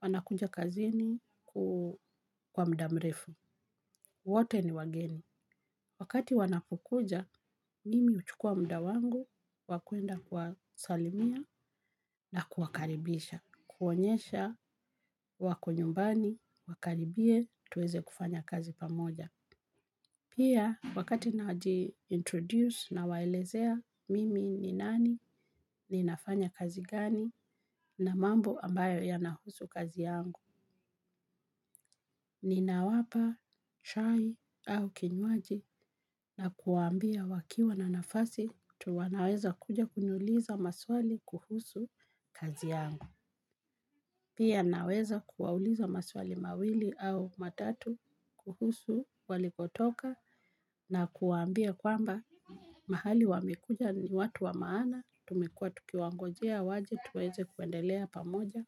wanakuja kazini kwa muda mrefu. Wote ni wageni. Wakati wanapokuja mimi huchukua muda wangu wa kuenda kuwasilimia na kuwakaribisha kuonyesha wako nyumbani, wakaribie tuweze kufanya kazi pamoja. Pia wakati naji introduce na waelezea mimi ni nani ni nafanya kazi gani na mambo ambayo yanahusu kazi yangu. Nina wapa, chai au kinywaji na kuwaambia wakiwa na nafasi tuwanaweza kuja kuniuliza maswali kuhusu kazi yangu. Pia naweza kuwauliza maswali mawili au matatu kuhusu walikotoka na kuwaambia kwamba mahali wamekuja ni watu wa maana, tumekua tukiwa ngojea waje, tuweze kuendelea pamoja,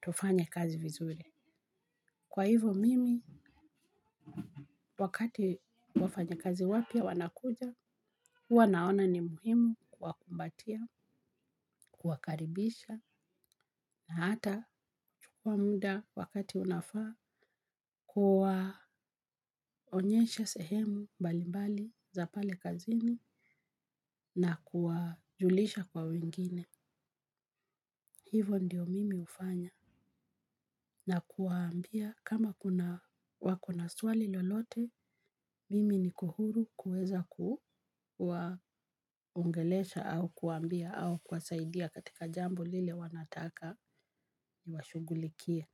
tufanye kazi vizuri. Kwa hivo mimi, wakati wafanya kazi wapya wanakuja, huwa naona ni muhimu kuwa kumbatia, kuwa karibisha, na hata chukua muda wakati unafaa, kuwa onyesha sehemu mbali mbali za pale kazini na kuwa julisha kwa wengine. Hivo ndiyo mimi hufanya na kuwaambia kama wakona swali lolote mimi niko huru kuweza kuwaongelesha au kuwa ambia au kuwasaidia katika jambo lile wanataka ni washughulikie.